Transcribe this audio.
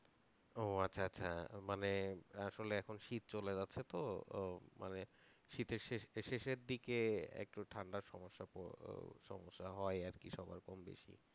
ও আচ্ছা আচ্ছা, মানে আসলে এখন শীত চলে যাচ্ছে তো আহ মানে শীতের শেষ~ শেষের দিকে একটু ঠান্ডার সমস্যা সমস্যা হয় আর কি সবার কম বেশি